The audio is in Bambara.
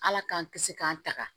Ala k'an kisi k'an taga